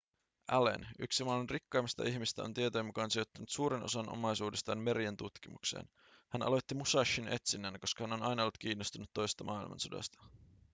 allen yksi maailman rikkaimmista ihmisistä on tietojen mukaan sijoittanut suuren osan omaisuudestaan merien tutkimukseen hän aloitti musashin etsinnän koska hän on aina ollut kiinnostunut toisesta maailmansodasta